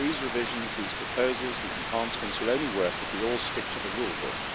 These revisions, these proposals, these enhancements will only work if we all stick to the rule book.